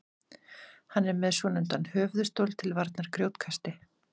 hann er með svonefndan höfuðstól til varnar grjótkasti